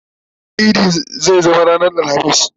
bana idi zai zama ranar alhamis